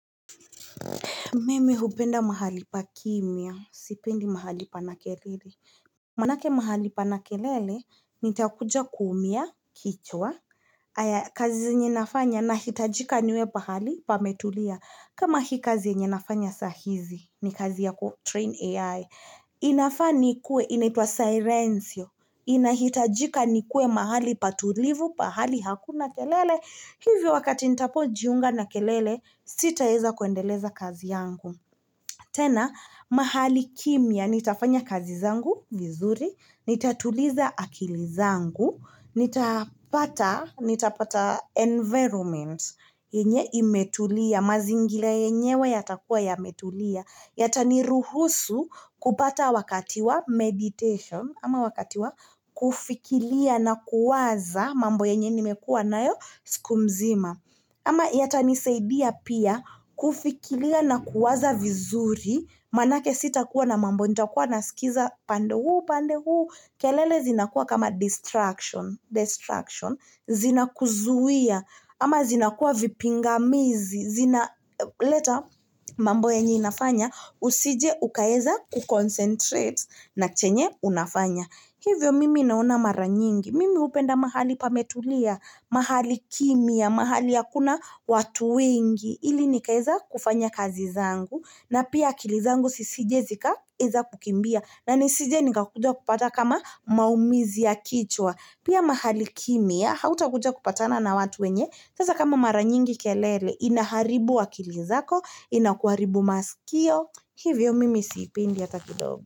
Mimi hupenda mahali pa kimya. Sipendi mahali pana kelele. Manake mahali pana kelele nitakuja kuumia kichwa kazi zenye nafanya nahitajika niwe pahali pa metulia kama hii kazi yenye nafanya sahizi ni kazi yaku train ai. Inafaa nikue, inaitwa Silencio inahitajika nikuwe mahali patulivu, pahali hakuna kelele Hivyo wakati nitapo jiunga na kelele, sitaeza kuendeleza kazi yangu tena, mahali kimya, nitafanya kazi zangu, vizuri Nitatuliza akili zangu nitapata environment yenye imetulia, mazingira yenyewe yatakua ya metulia Yata ni ruhusu kupata wakatiwa meditation, ama wakati wa kufikilia na kuwaza mambo yenye nimekua nayo, siku mzima. Ama yatanisaidia pia kufikilia na kuwaza vizuri, manake sita kuwa na mambo nita kuwa na sikiza pande huu, pande huu. Kelele zina kuwa kama distraction, zina kuzuia, ama zina kuwa vipinga mizi, zina leta mambo yenye inafanya, usije ukaeza ku concentrate na chenye unafanya. Hivyo mimi naona mara nyingi, mimi hupenda mahali pametulia, mahali kimya, mahali hakuna watu wengi, ili nikaeza kufanya kazi zangu, na pia akilizangu sisije zika eza kukimbia na nisije nika kukujua kupata kama maumizi ya kichwa pia mahali kimya hauta kujua kupatana na watu wenye sasa kama maranyingi kelele inaharibu akilizako inakuaribu masikio hivyo mimi sipendi hata kidogo.